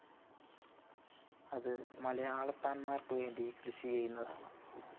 അത് മലയാളത്താന്മാര്‍ക്ക് വേണ്ടി കൃഷിചെയ്യുന്നതാണ്